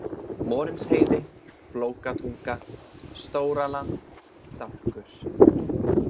Morinsheiði, Flókatunga, Stóraland, Dálkur